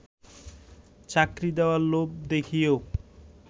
চাকরি দেয়ার লোভ দেখিয়েও